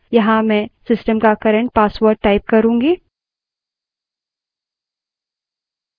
यहाँ मैं system का current password टाइप करूँगी